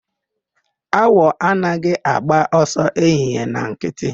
Awọ anaghị agba ọsọ ehihie na nkịtị.